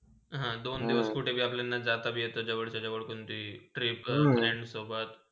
हा, दोन दिवस आपल्याला कुठेही जाताभी येते जवळच्या - जवळ पण ती travel friends सोबत.